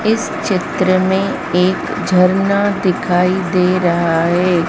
इस चित्र में एक झरना दिखाई दे रहा है।